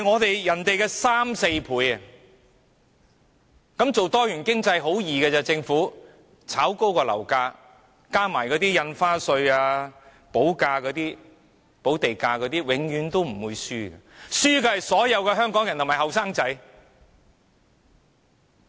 這樣政府搞多元經濟有何難，只須炒高樓價，再加上印花稅和補地價，可以說一定不會輸，輸的是所有香港人和年輕人。